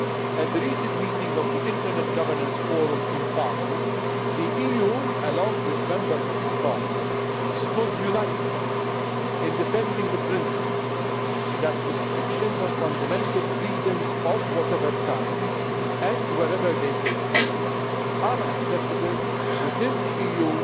At the recent meeting of the Internet Governance Forum in Baku, the EU along with Members of this Parliament stood united in defending the principle that restrictions on fundamental freedoms of whatever kind and wherever they take place are unacceptable, within the EU's